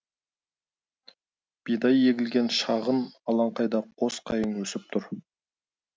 бидай егілген шағын алаңқайда қос қайың өсіп тұр